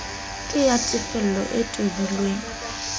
ke ya tefello e tobileng